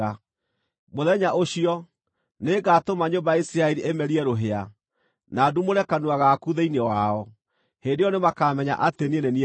“Mũthenya ũcio, nĩngatũma nyũmba ya Isiraeli ĩmerie rũhĩa, na ndumũre kanua gaku thĩinĩ wao. Hĩndĩ ĩyo nĩmakamenya atĩ niĩ nĩ niĩ Jehova.”